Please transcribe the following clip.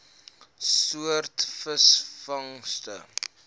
soort visvangste